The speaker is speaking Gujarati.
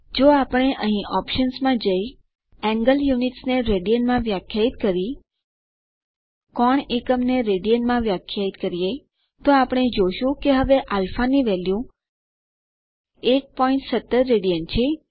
જો આપણે અહીં ઓપ્શન્સ માં જઈ એન્ગલ યુનિટ્સ ને રડિયન માં વ્યાખ્યાયિત કરી કોણ એકમ ને રેડિયન માં વ્યાખ્યાયિત કરીએ તો આપણે જોશું કે હવે α ની વેલ્યુ 117 રાડ છે